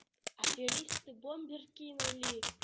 аферисты бомбер кинули